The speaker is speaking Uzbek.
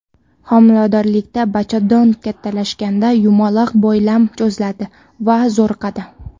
Homiladorlikda bachadon kattalashganda yumaloq boylam cho‘ziladi va zo‘riqadi.